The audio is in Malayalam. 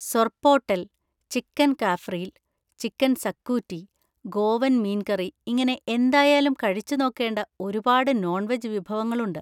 സൊർപോട്ടെൽ, ചിക്കൻ കാഫ്രീൽ, ചിക്കൻ സക്കൂറ്റി, ഗോവൻ മീൻ കറി; ഇങ്ങനെ എന്തായാലും കഴിച്ചു നോക്കേണ്ട ഒരുപാട് നോൺ വെജ് വിഭവങ്ങളുണ്ട്.